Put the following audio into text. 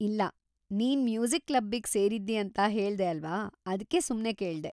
ಇಲ್ಲ, ನೀನ್‌ ಮ್ಯೂಸಿಕ್‌ ಕ್ಲಬ್ಬಿಗ್ ಸೇರಿದ್ದಿ ಅಂತ ಹೇಳ್ದೆ ಅಲ್ವಾ, ಅದ್ಕೆ ಸುಮ್ನೆ ಕೇಳ್ದೆ.